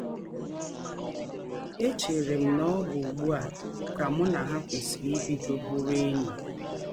Echere m na ọ bụ ụgbụ a ka mụ na ha kwesịrị ibido bụrụ enyi. ”